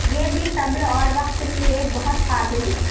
یہ بھی صبر اور وقت کی ایک بہت قابل